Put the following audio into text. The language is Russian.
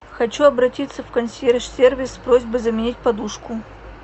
хочу обратиться в консьерж сервис с просьбой заменить подушку